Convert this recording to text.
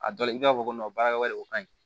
A dɔ la i b'a fɔ ko baara wɛrɛ o kaɲi